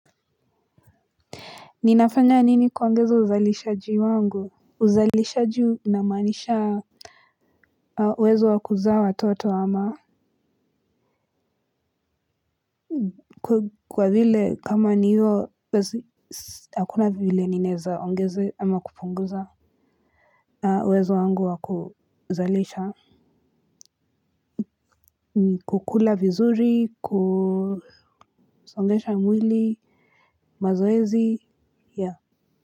Ninafanya nini kuongeza uzalisha wangu uzalisha unamanisha uwezo wa kuzaa watoto ama kwa vile kama niyo hakuna vile ninaweza ongezea ama kupunguza. Uwezo wangu wa kuzalisha. Kukula vizuri kusongesha mwili. Mazoezi ya.